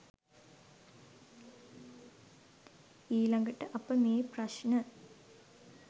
ඊළඟට අප මේ ප්‍රශ්න